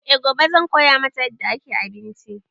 E gobe zan koya mata yadda ake abinci